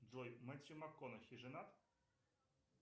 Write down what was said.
джой мэтью макконахи женат